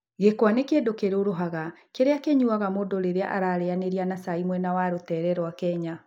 Gĩkwa nĩ kĩndũ kĩrũrũhaga kĩrĩa kĩnyuaga mũndũ rĩrĩa arĩĩanĩra na cai mwena wa rũteere rwa Kenya.